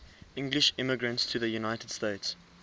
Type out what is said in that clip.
english immigrants to the united states